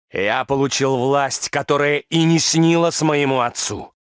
я получил власть которая и не снилась моему отцу